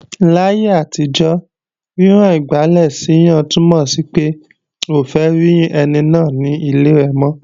Láyé àtijọ́, rírán igbálẹ̀ séyàn túnmọ̀ sí pé, o ò fẹ́ rí ẹni náà ní ilé rẹ̀ mọ́